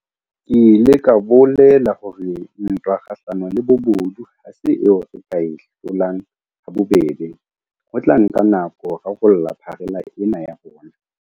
Ke ile ka bolela hore ntwa kgahlano le bobodu ha se eo re ka e hlolang ha bobebe, ho tla nka nako ho rarolla pharela ena ya bona.